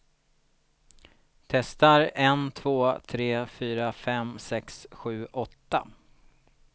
Testar en två tre fyra fem sex sju åtta.